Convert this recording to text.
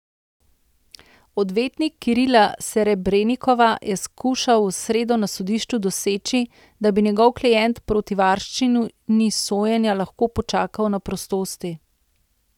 Odvetnik Kirila Serebrenikova je skušal v sredo na sodišču doseči, da bi njegov klient proti varščini sojenje lahko počakal na prostosti.